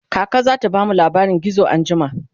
kaka zata bamu labarin gizo anjima